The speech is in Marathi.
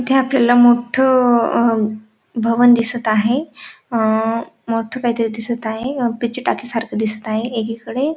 इथे आपल्याला मोठ भवन दिसत आहे अ मोठ काहीतरी दिसत आहे पिचटाकी सारख दिसत आहे एकीकडे --